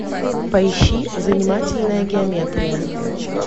поищи занимательная геометрия